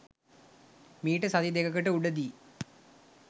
මීට සති දෙකකට උඩ දී.